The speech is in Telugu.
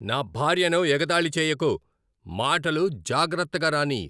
నా భార్యను ఎగతాళి చేయకు! మాటలు జాగ్రత్తగా రానీయ్!